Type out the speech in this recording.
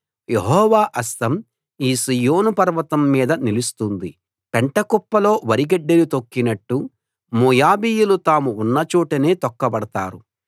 యెహోవా హస్తం ఈ సీయోను పర్వతం మీద నిలుస్తుంది పెంటకుప్పలో వరిగడ్డిని తొక్కినట్టు మోయాబీయులు తాము ఉన్న చోటనే తొక్కబడతారు